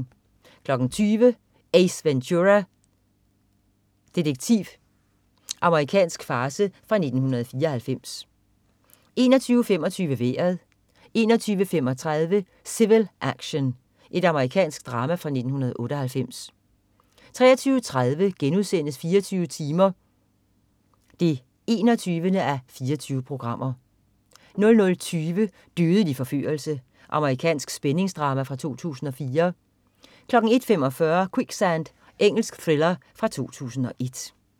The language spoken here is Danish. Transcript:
20.00 Ace Ventura, detektiv. Amerikansk farce fra 1994 21.25 Vejret 21.35 Civil Action. Amerikansk drama fra 1998 23.30 24 timer 21:24* 00.20 Dødelig forførelse. Amerikansk spændingsdrama fra 2004 01.45 Quicksand. Engelsk thriller fra 2001